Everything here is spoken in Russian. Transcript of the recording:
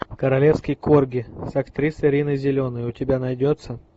королевский корги с актрисой риной зеленой у тебя найдется